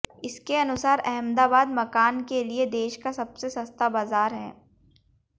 इसके अनुसार अहमदाबाद मकान के लिये देश का सबसे सस्ता बाजार है